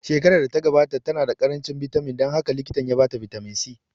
Shekarar da ta gabata ta na da ƙaranci bitamin dan haka likitan ya ba ta bitamin C